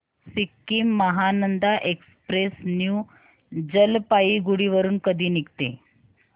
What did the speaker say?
Sikkim Mahananda express new Jalpaiguri वरून कधी निघते